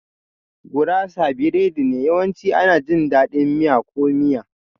Gurasa biredi ne, yawanci ana jin daɗin miya ko miya.